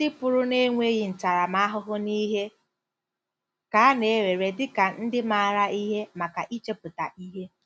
Ndị pụrụ n'enweghi ntaramahụhụ n'ihe ka a na ewere dị ka ndị maara ihe maka ‘ichepụta ihe. ’”